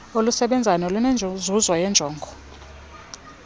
olusebenzayo nolunenzuzo yeenjongo